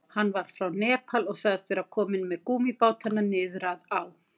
Hann var frá Nepal og sagðist vera kominn með gúmmíbátana niður að á.